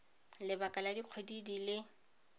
lebaka la dikgwedi di le